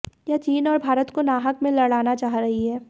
यह चीन और भारत को नाहक में लडाना चाह रही है